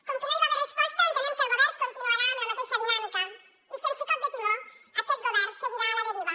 com que no hi va haver resposta entenem que el govern continuarà amb la mateixa dinàmica i sense cop de timó aquest govern seguirà a la deriva